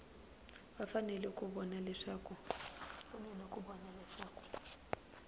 va fanele ku vona leswaku